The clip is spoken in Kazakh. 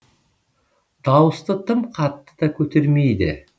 дауысты тым қатты да көтермейді